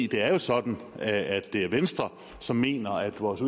det er jo sådan at det er venstre som mener at vores